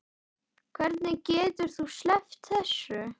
Hvernig getur þú sleppt þessu?